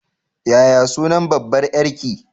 Yaya sunan babbar ƴarki?